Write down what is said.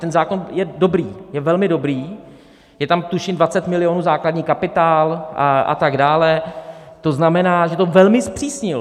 Ten zákon je dobrý, je velmi dobrý, je tam tuším 20 milionů základní kapitál a tak dále, to znamená, že to velmi zpřísnil.